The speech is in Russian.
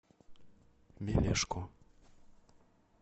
мелешко